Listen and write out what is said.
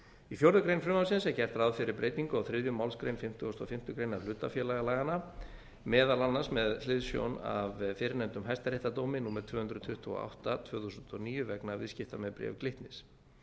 í fjórða grein frumvarpsins er gert ráð fyrir breytingu á þriðju málsgrein fimmtugustu og fimmtu grein hlutafélagalaganna meðal annars með hliðsjón af fyrrnefndum hæstaréttardómi númer tvö hundruð tuttugu og átta tvö þúsund og níu vegna viðskipta með bréf glitnis